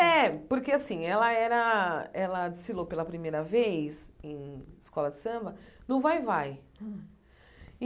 É, porque assim, ela era, ela desfilou pela primeira vez em escola de samba no vai-vai.